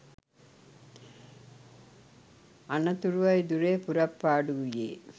අනතුරුවයි ධුරය පුරප්පාඩු වුයේ.